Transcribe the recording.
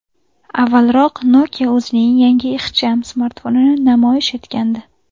Avvalroq Nokia o‘zining yangi ixcham smartfonini namoyish etgandi .